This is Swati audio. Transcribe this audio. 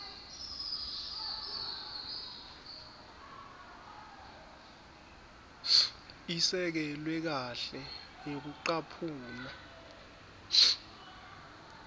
isekelwe kahle ngekucaphuna